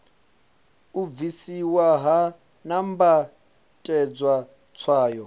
u bvisiwa ha nambatedzwa tswayo